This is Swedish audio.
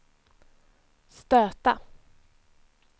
stöta